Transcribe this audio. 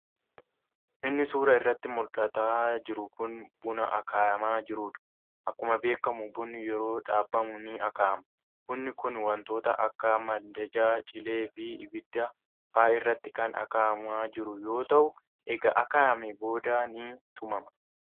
Inni suuraa irratti muldhataa jiru kun buna akaayamaa jiruudha. Akkuma beekkamu bunni yeroo dhaabamu ni akaayama. Bunni kun wontoota akka mandajaa, cilee fi ibidda fa'a irratti kan akaayamaa jiru yoo ta'u eega akaayameen booda ni tumama.